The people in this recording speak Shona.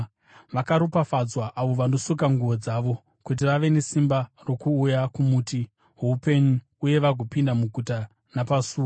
“Vakaropafadzwa avo vanosuka nguo dzavo, kuti vave nesimba rokuuya kumuti woupenyu uye vagopinda muguta napasuo.